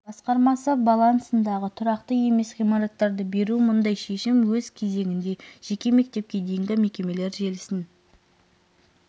басқармасы балансындағы тұрғылықты емес ғимараттарды беру мұндай шешім өз кезегінде жеке мектепке дейінгі мекемелер желісін